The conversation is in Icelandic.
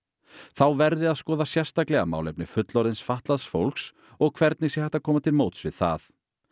þá verði að skoða sérstaklega málefni fullorðins fatlaðs fólks og hvernig sé hægt að koma til móts við það